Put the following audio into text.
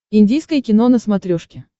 индийское кино на смотрешке